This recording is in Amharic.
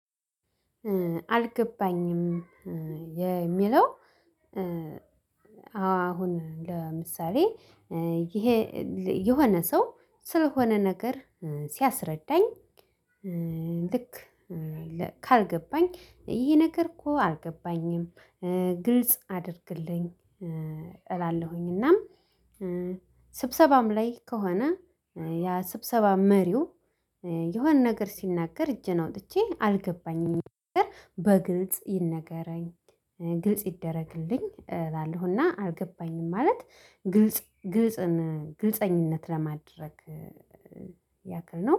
አልገባኝም የሚለው ኧአዎ አሁን ለምሳሌ ይሄ የሆነ ሰው ስለሆነ ነገር ሲያስረዳኝ ልክ ካልገባኝ ይሄ ነገር እኮ አልገባኝም ኧ ግልጽ አድርግልኝ ኧ እላለሁኝ እና ስብሰባም ላይ ከሆነ ያ ስብሰባ መሪው የሆነ ነገር ሲናገር እጄን አውጥቼ አልገባኝም በግልጽ ይነገረኝ ግልጽ ይደረግልኝ እላለሁና አልገባኝም ማለት ግልጽ ግልጽን ግልፀኝነት ለማድረግ ያክል ነው።